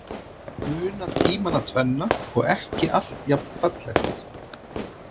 Muna tímana tvenna og ekki allt jafnfallegt.